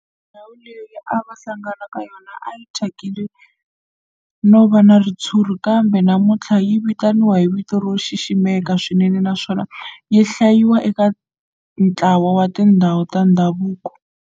Ndhawu leyi a va hlangana ka yona a yi thyakile no va na ritshuri kambe namuntlha yi vitaniwa hi vito ro xiximeka swinene naswona yi hlayiwa eka ntlawa wa tindhawu ta ndhavuko.